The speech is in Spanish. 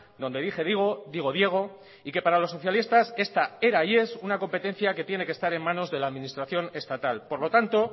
donde dije digo digo diego y que para los socialistas esta era y es una competencia que tiene que estar en manos de la administración estatal por lo tanto